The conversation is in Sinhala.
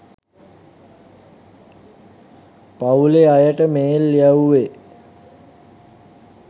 පවුලෙ අයට මේල් යැවුවෙ.